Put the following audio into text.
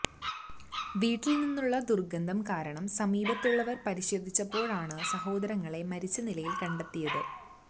വീട്ടിൽ നിന്നുള്ള ദുർഗന്ധം കാരണം സമീപത്തുള്ളവർ പരിശോധിച്ചപ്പോഴാണ് സഹോദരങ്ങളെ മരിച്ച നിലയിൽ കണ്ടെത്തിയത്